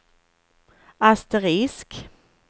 asterisk